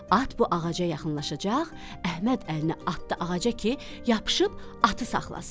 At bu ağaca yaxınlaşacaq, Əhməd əlini atdı ağaca ki, yapışıb atı saxlasın.